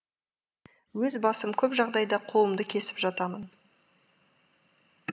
өз басым көп жағдайда қолымды кесіп жатамын